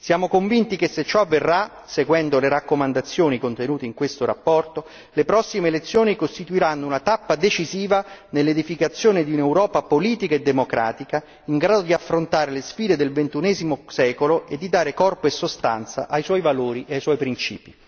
Siamo convinti che se ciò avverrà, seguendo le raccomandazioni contenute in questa relazione, le prossime elezioni costituiranno una tappa decisiva nell'edificazione di un'Europa politica e democratica in grado di affrontare le sfide del ventunesimo secolo e di dare corpo e sostanza ai suoi valori e ai suoi principi.